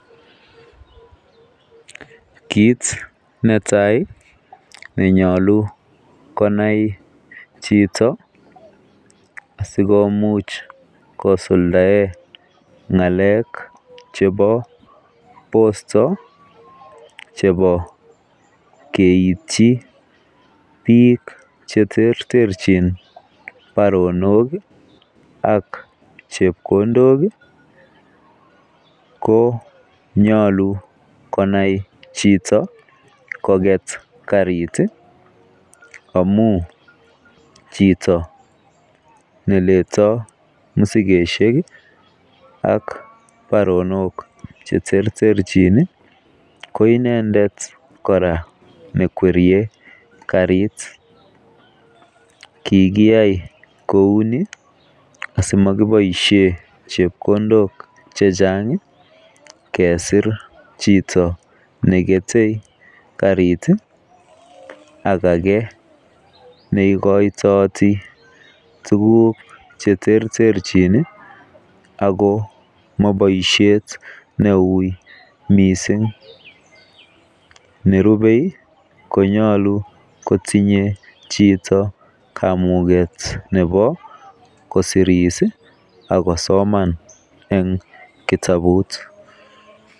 Kit netai nenyolu konai chito asikomuch kisuldaen ngalek chebo bosto chebo keityi bik cheterterenchin baronok ak chepkondok ko nyolu konai chito kokwet Kari tii amun chito neletoo moshinishek kii ak baronok cheterterchin nii ko Inendet koraa nekwerie karit, kikoyai kouni asimokiboishen chepkondok chechang kesir chito neketei karit tii ak age neikoitoti tukuk cheterterchin nii ako moboishet neu missing. Neribe konyolu kotinye chito kamuget nebo kosiris sii ak kosoman en kitabut.